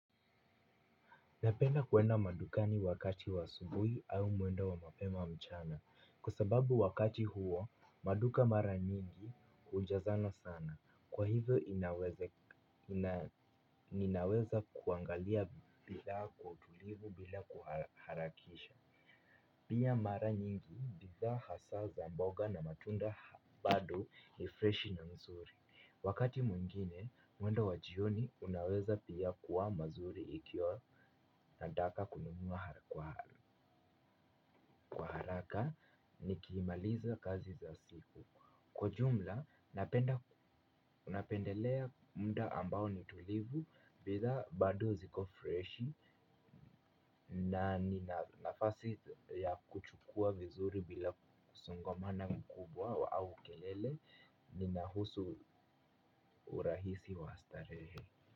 Napenda kwenda madukani wakati wa asubuhi au mwendo wa mapema mchana kwa sababu wakati huo maduka mara nyingi hujazana sana kwa hivyo ninaweza kuangalia bidhaa kwa utulivu bila kuharakisha. Pia mara nyingi bidhaa hasa za mboga na matunda bado ni freshi na nzuri wakati mwingine, mwendo wa jioni unaweza pia kuwa mazuri ikiwa nataka kununua kwa kwa haraka nikimaliza kazi za siku kwa jumla, napenda napendelea muda ambao ni tulivu bidhaa bado ziko freshi. Na ni nafasi ya kuchukua vizuri bila kusongamana mkubwa au kelele. Ninahusu urahisi wa starehe.